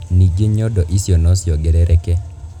Ningĩ nyondo icio no ciongerereke.